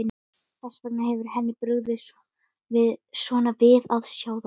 Þess vegna hefur henni brugðið svona við að sjá þær.